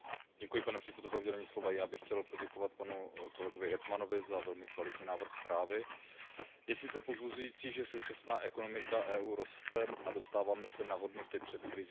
Pane předsedající, já bych chtěl poděkovat panu kolegovi Hetmanovi za velmi kvalitní návrh zprávy. Je sice povzbuzující, že současná ekonomika EU roste a dostáváme se na hodnoty před krizí.